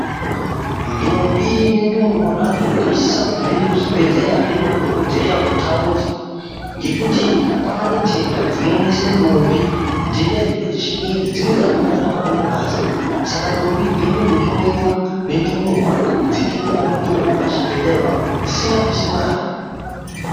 Ndombi nendumurwa zvadzo zvinosisa kuti zviende kuzvibhedhleya zvindoona dhokodheya wetaundi ngekuti kwaane ntenda dzinomise ndombi. Ntenda idzi ngedzechingezi, dzimweni dzakhona dzinohambe mungazi saka ndombi idzi dzinotondohloyiwa nendumurwa dzeitopiwawo mutombo pachibhehleya pona apapo dzisikadusi mare.